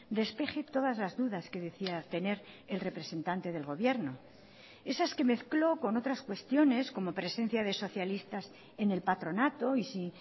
despeje todas las dudas que decía tener el representante del gobierno esas que mezcló con otras cuestiones como presencia de socialistas en el patronato y si